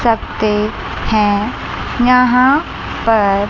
सकते हैं यहां पर--